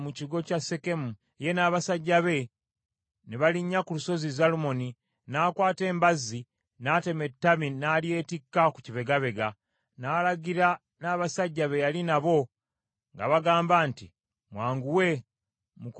ye n’abasajja be ne balinnya ku lusozi Zalumoni, n’akwata embazi n’atema ettabi n’alyetikka ku kibegabega. N’alagira n’abasajja be yali nabo ng’abagamba nti, “Mwanguwe, mukole nga bwe nkoze.”